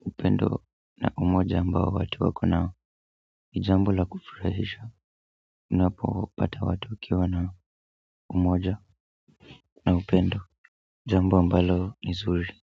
upendo na umoja ambao watu wako nao ni jambo la kufurahisha napo wapata watu wakiwa na umoja na upendo jambo ambalo ni zuri.